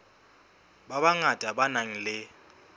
ba bangata ba nang le